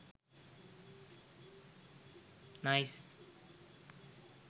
nice